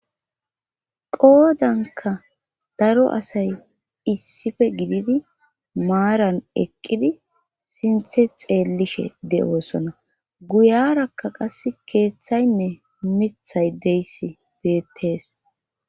Qoodanka daro asay issife gididi maaran eqqidi sinthe xeellishe de'osona guyarakka qass keeththaynne mithay deyssi beettees.